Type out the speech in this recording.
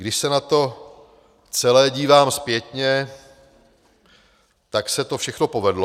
Když se na to celé dívám zpětně, tak se to všechno povedlo.